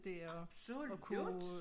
Absolut